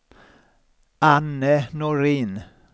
Anne Norin